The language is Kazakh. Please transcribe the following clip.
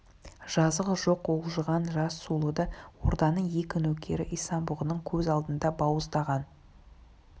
жазығы жоқ уылжыған жас сұлуды орданың екі нөкері исан-бұғының көз алдында бауыздаған